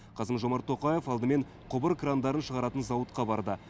қасым жомарт тоқаев алдымен құбыр крандарын шығаратын зауытқа барды